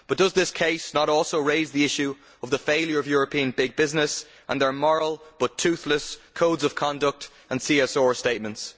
But does this case not also raise the issue of the failure of European big business and their moral but toothless codes of conduct and CSO statements?